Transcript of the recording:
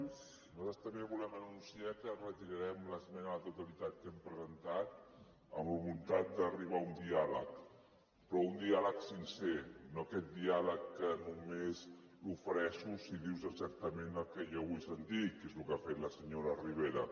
nosaltres també volem anunciar que retirarem l’esmena a la totalitat que hem presentat amb la voluntat d’arribar a un diàleg però un diàleg sincer no aquest diàleg que només t’ofereixo si dius exactament el que jo vull sentir que és el que ha fet la senyora ribera